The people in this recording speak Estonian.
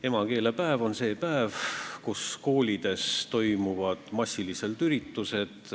Emakeelepäev on see päev, kui koolides toimub massiliselt üritusi.